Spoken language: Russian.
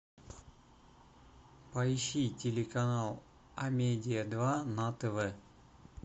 поищи телеканал амедиа два на тв